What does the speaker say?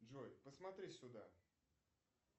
джой посмотри сюда